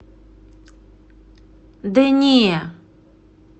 да не